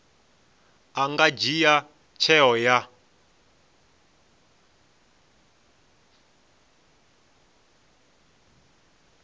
a nga dzhia tsheo ya